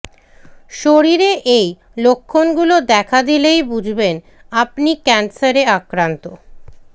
শরীরে এই লক্ষণগুলো দেখা দিলেই বুঝবেন আপনি ক্যান্সারে আক্রান্ত